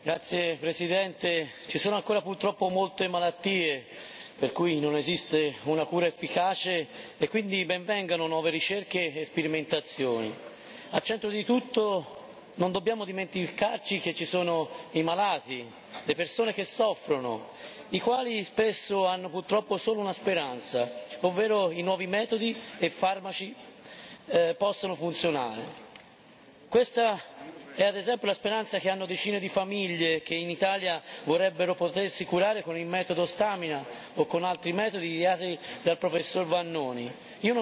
Signor Presidente, onorevoli colleghi, purtroppo ci sono ancora molte malattie per cui non esiste una cura efficace, e quindi ben vengano nuove ricerche e sperimentazioni. Al centro di tutto non dobbiamo dimenticarci che ci sono i malati, le persone che soffrono, le quali spesso hanno purtroppo solo una speranza, ovvero i nuovi metodi e i farmaci che possono funzionare. Questa è ad esempio la speranza che hanno decine di famiglie che in Italia vorrebbero potersi curare con il metodo Stamina o con altri metodi ideati dal professor Vannoni.